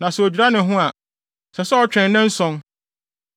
Na sɛ odwira ne ho a, ɛsɛ sɛ ɔtwɛn nnanson.